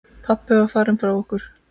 Pabbi var farinn frá okkur.